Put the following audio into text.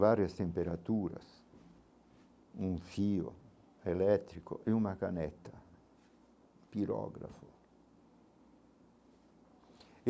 Várias temperaturas, um fio elétrico e uma caneta, pirógrafo.